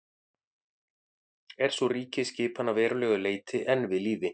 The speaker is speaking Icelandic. er sú ríkjaskipan að verulegu leyti enn við lýði